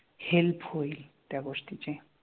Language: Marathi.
Help होईल त्या गोष्टीची.